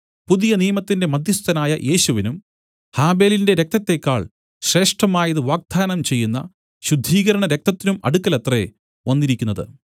പുതുനിയമത്തിന്റെ മദ്ധ്യസ്ഥനായ യേശുവിനും ഹാബെലിന്റെ രക്തത്തേക്കാൾ ശ്രേഷ്ഠമായത് വാഗ്ദാനം ചെയ്യുന്ന ശുദ്ധീകരണ രക്തത്തിനും അടുക്കലത്രേ വന്നിരിക്കുന്നത്